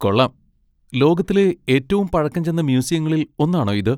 കൊള്ളാം! ലോകത്തിലെ ഏറ്റവും പഴക്കം ചെന്ന മ്യൂസിയങ്ങളിൽ ഒന്നാണോ ഇത്?